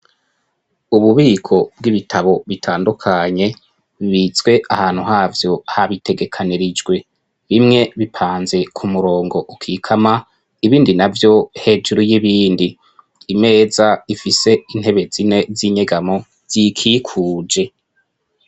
Ububiko bw'ibitabo bitandukanye bibitswe ahantu havyo habitegekanirijwe, bimwe bipanze ku murongo ukikama ibindi navyo hejuru y'ibindi, imeza ifise intebe zine z'inyegamo y'ikikuje.